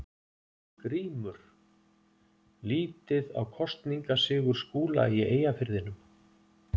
GRÍMUR: Lítið á kosningasigur Skúla í Eyjafirðinum.